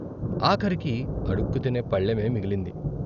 ఆఖరికి అడుక్కుతినే పళ్ళెమే మిగిలింది.